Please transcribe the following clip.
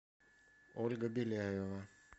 ольга беляева